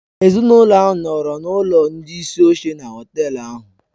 Ezinụlọ ahụ nọọrọ n'ụlọ ndị isi oche na họtel ahụ.